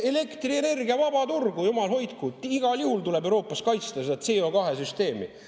Elektrienergia vaba turg, jumal hoidku, igal juhul tuleb Euroopas kaitsta seda CO2-süsteemi.